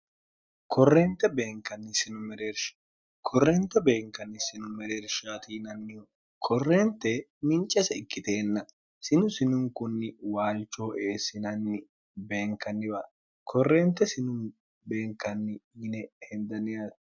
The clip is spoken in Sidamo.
korrente beenkanni sino mereershkorrente beenkanni sinu mereer shaatiinannihu korrente mincese ikkiteenna sinu sinunkunni waalchoo eessinanni beenkanniwa korrente sinu beenkanni yine hendanniyaate